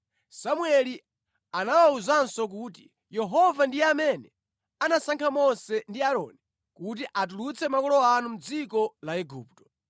Samueli anawawuzanso kuti, “Yehova ndiye amene anasankha Mose ndi Aaroni kuti atulutse makolo anu mʼdziko la Igupto.